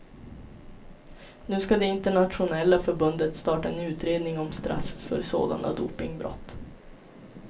Nu ska det internationella förbundet starta en utredning om straff för sådana dopingbrott.